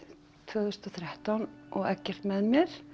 tvö þúsund og þrettán og Eggert með mér